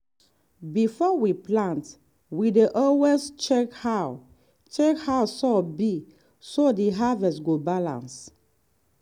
before we plant we dey always check how check how soil be so the harvest go balance.